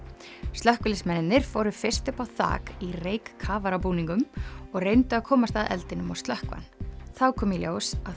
slökkviliðsmenn fóru fyrst upp á þak í reykkafarabúningum og reyndu að komast að eldinum og slökkva hann þá kom í ljós að